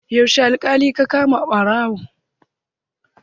Yaushe aka kama ɓarawon?